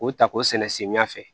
O ta k'o sɛnɛ samiya fɛ